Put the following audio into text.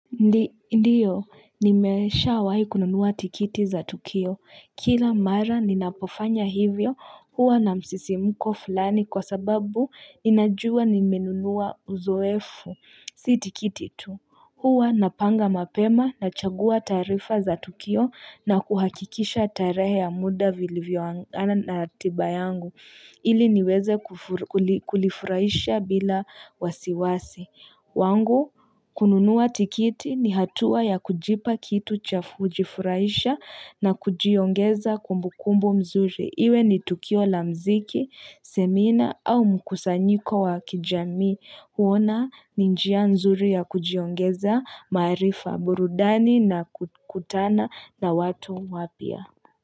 Ndiyo, nimeshawahi kununua tikiti za Tukio. Kila mara ninapofanya hivyo huwa na msisimuko fulani kwa sababu ninajua nimenunua uzoefu. Si tikiti tu huwa napanga mapema nachagua taarifa za Tukio na kuhakikisha tarehe ya muda vilivyoangana na ratiba yangu ili niweze kulifuraisha bila wasiwasi. Wangu kununua tikiti ni hatua ya kujipa kitu cha kujjifuraisha na kujiongeza kumbukumbu mzuri. Iwe ni tukio la mziki, semina au mkusanyiko wa kijami. Huona ni njia mzuri ya kujiongeza, maarifa, burudani na kukutana na watu wapya.